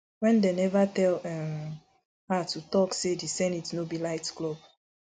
wen dem neva tell um her to tok say di senate no be nightclub